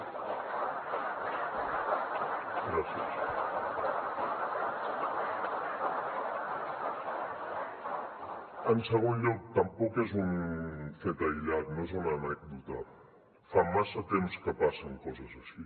en segon lloc tampoc és un fet aïllat no és una anècdota fa massa temps que passen coses així